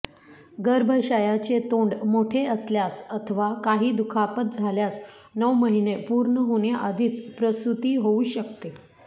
गर्भाशयाचे तोंड मोठे असल्यास अथवा काही दुखापत झाल्यास नऊ महिने पूर्ण होण्याआधीच प्रसूती होवू शकते